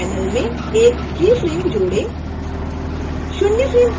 keyframes panel में एक keyframe जोड़ें